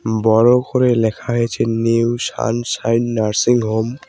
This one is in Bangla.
বড় করে লেখা হয়েছে নিউ সান সাইন নার্সিংহোম ।